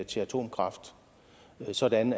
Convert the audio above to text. til atomkraft sådan